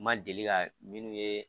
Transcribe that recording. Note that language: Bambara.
Ma deli ka minnu ye